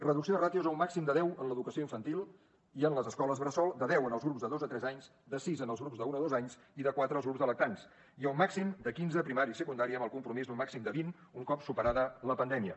reducció de ràtios a un màxim de deu en l’educació infantil i en les escoles bressol de deu en els grups de dos a tres anys de sis en els grups d’un a dos anys i de quatre als grups de lactants i a un màxim de quinze a primària i secundària amb el compromís d’un màxim de vint un cop superada la pandèmia